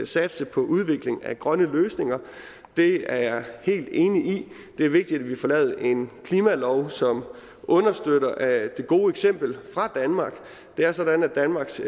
satse på udvikling af grønne løsninger det er jeg helt enig i det er vigtigt at vi får lavet en klimalov som understøtter det gode eksempel fra danmark det er sådan at danmarks